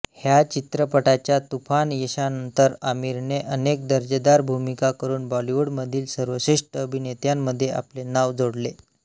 ह्या चित्रपटाच्या तूफान यशानंतर आमिरने अनेक दर्जेदार भूमिका करून बॉलिवूडमधील सर्वश्रेष्ठ अभिनेत्यांमध्ये आपले नाव जोडले